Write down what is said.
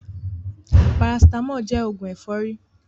Parasitámọ̀ jẹ́ òògùn ẹ̀fọ́rí.